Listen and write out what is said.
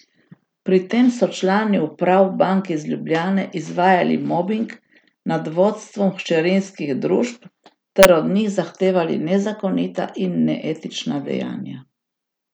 Pri tem so člani uprav bank iz Ljubljane izvajali mobing nad vodstvom hčerinskih družb ter od njih zahtevali nezakonita in neetična dejanja.